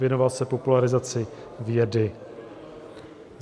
Věnoval se popularizaci vědy.